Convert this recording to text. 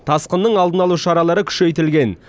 тасқынның алдын алу шаралары күшейтілген